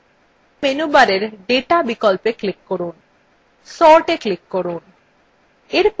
এখন মেনুবারের data বিকল্পে click করুন sortএ click করুন